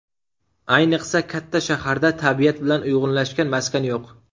Ayniqsa katta shaharda tabiat bilan uyg‘unlashgan maskan yo‘q.